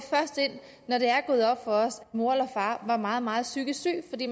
når det er gået op for os at mor eller far var meget meget psykisk syg fordi